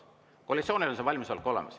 Koalitsioonil on see valmisolek olemas.